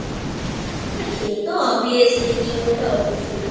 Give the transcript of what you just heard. হ্যাঁ সে তো Obviously কিনবো তো অবশ্যই